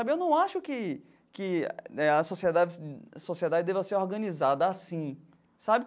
Eu não acho que que a sociedade a sociedade deva ser organizada assim sabe.